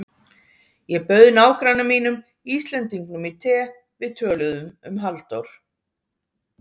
Ég bauð nágranna mínum Íslendingnum í te, við töluðum um Halldór